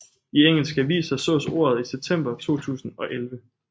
I engelske aviser sås ordet i september 2011